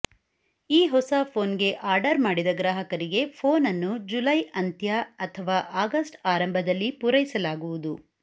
ಈ ಹೊಸ ಫೋನ್ ಗೆ ಆರ್ಡರ್ ಮಾಡಿದ ಗ್ರಾಹಕರಿಗೆ ಫೋನ್ ಅನ್ನು ಜುಲೈ ಅಂತ್ಯ ಅಥವಾ ಆಗಸ್ಟ್ ಆರಂಭದಲ್ಲಿ ಪೂರೈಸಲಾಗುವುದು